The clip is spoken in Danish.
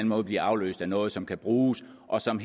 måde bliver afløst af noget som kan bruges og som